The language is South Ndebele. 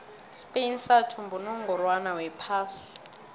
ispain sathumba unongorwond wephasi